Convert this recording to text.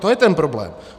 To je ten problém.